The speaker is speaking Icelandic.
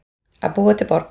Að búa til borg